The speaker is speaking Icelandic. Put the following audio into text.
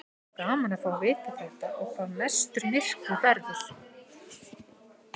Væri gaman að fá að vita þetta og hvar mestur myrkvi verður.